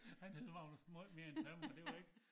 Han hed Magnus møj mere end tømrer det var ik